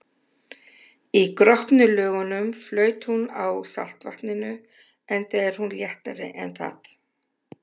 Í gropnu lögunum flaut hún á saltvatninu, enda er hún léttari en það.